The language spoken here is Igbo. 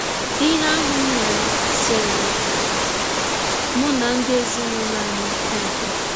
Ihe ahụ m mere seere mụ na ndị ezinụlọ anyị ọkwụ.